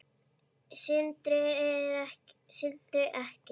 Sindri: Ekki?